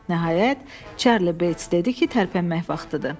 Nəhayət, Çarli Beyts dedi ki, tərpənmək vaxtıdır.